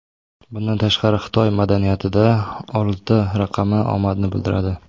Bundan tashqari, Xitoy madaniyatida olti raqami omadni bildiradi.